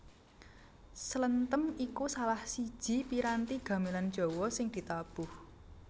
Slenthem iku salah siji piranti gamelan Jawa sing ditabuh